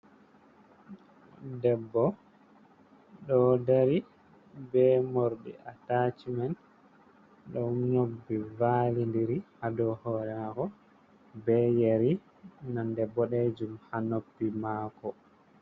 Debbo do dari be mordi ataci man, do nyobbi validiri hado hore mako be yeri nonde bo dejum ha noppi mako.